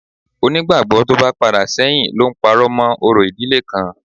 Onígbàgbọ́ tó bá padà sẹ́yìn ló ń parọ́ mọ́ orò ìdílé kan